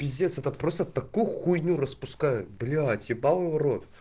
пиздец это просто такую хуйню распускают блять ебалово в рот